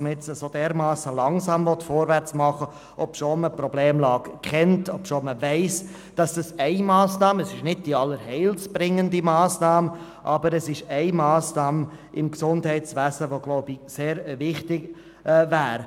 man jetzt derart langsam vorwärtsgehen will, obschon man die Problemlage erkennt und weiss, dass es eine Massnahme im Gesundheitsbereich ist, die sehr wichtig wäre, auch wenn sie natürlich nicht allein seligmachend ist.